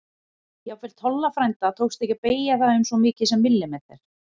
Jafnvel Tolla frænda tókst ekki að beygja það um svo mikið sem millimeter.